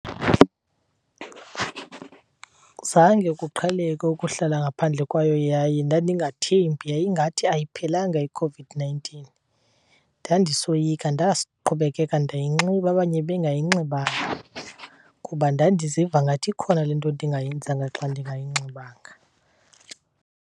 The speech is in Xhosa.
Zange kuqheleke ukuhlala ngaphandle kwayo yaye ndandingathembi, yayingathi ayiphelanga iCOVID-nineteen. Ndandisoyika ndaqhubekeka ndayinxiba abanye bengayinxibanga, kuba ndandiziva ngathi ikhona le nto ndingayenzanga xa ndingayinxibanga.